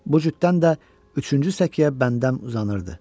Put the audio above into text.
Bu cütdən də üçüncü səkiyə bəndəm uzanırdı.